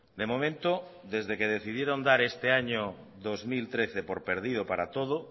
de momento desde que decidieron dar este año dos mil trece por perdido para todo